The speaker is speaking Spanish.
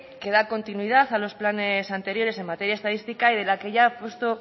que da continuidad a los planes anteriores en materia estadística y de la que ya apostó